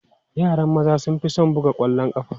Yaran maza sun fi son buga ƙwallon ƙafa.